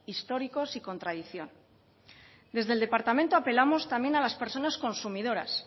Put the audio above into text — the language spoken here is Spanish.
históricos y con tradición desde el departamento apelamos también a las personas consumidoras